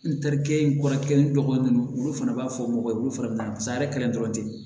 N tarikɛ in kɔrɔ kelen dɔgɔnin ninnu olu fana b'a fɔ mɔgɔ ye olu fana bɛ taa san yɛrɛ kelen dɔrɔn ten